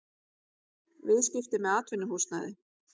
Viðskipti með atvinnuhúsnæði